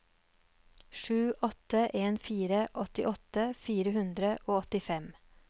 sju åtte en fire åttiåtte fire hundre og åttifem